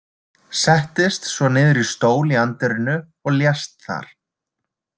Settist svo niður í stól í anddyrinu og lést þar.